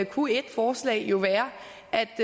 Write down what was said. kunne et forslag jo være